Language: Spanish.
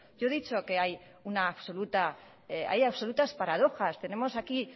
yo he dicho que hay absolutas paradojas tenemos aquí